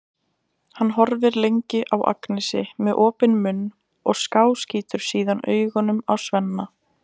Hann horfir lengi á Agnesi með opinn munn og skáskýtur síðan augunum á Svenna.